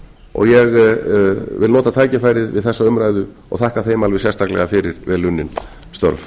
og ég vil nota tækifærið við þessa umræðu og þakka þeim alveg sérstaklega fyrir vel unnin störf